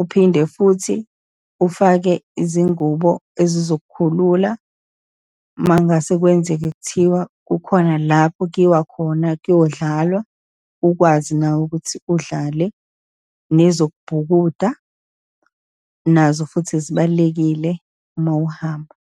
Uphinde futhi ufake izingubo ezizokukhulula, uma ngase kwenzeke kuthiwa kukhona lapho kuyiwa khona kuyodlalwa, ukwazi nawe ukuthi udlale, nezokubhukuda nazo futhi zibalulekile uma uhamba.